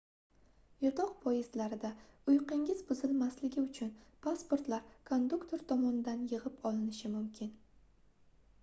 yotoq poyezdlarda uyqungiz buzilmasligi uchun pasportlar konduktor tomonidan yigʻib olinishi mumkin